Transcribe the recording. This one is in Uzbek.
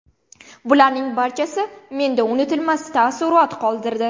Bularning barchasi menda unutilmas taassurot qoldirdi.